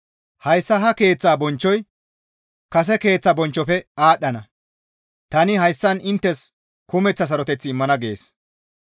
Hayssa ha keeththa bonchchoy kase keeththa bonchchofe aadhdhana. Tani hayssan inttes kumeththa saroteth immana› » gees.